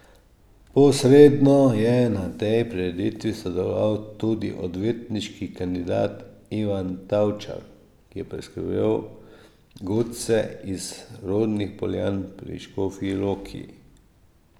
Posredno je na tej prireditvi sodeloval tudi odvetniški kandidat Ivan Tavčar, ki je preskrbel godce iz rodnih Poljan pri Škofji Loki.